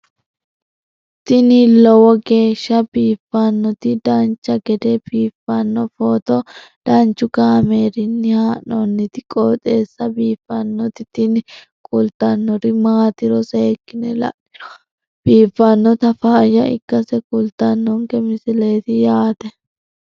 tini lowo geeshsha biiffannoti dancha gede biiffanno footo danchu kaameerinni haa'noonniti qooxeessa biiffannoti tini kultannori maatiro seekkine la'niro biiffannota faayya ikkase kultannoke misileeti yaate